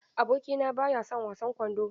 Abokina ba ya son wasan kwando.